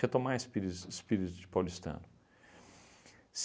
Retomar o espíri espírito de paulistano.